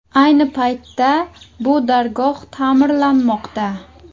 Ayni paytda bu dargoh ta’mirlanmoqda.